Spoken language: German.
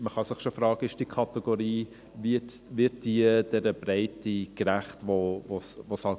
Man kann sich fragen, ob diese Kategorie der Breite gerecht wird, welche besteht.